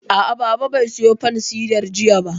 A'a, Baba bai sayo fansidar jiya ba